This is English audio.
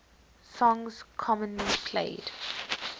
songs commonly played